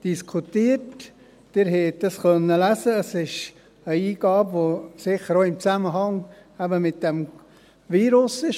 Wie Sie lesen konnten, ist es eine Eingabe, die sicher auch in Zusammenhang mit diesem Virus gemacht wurde.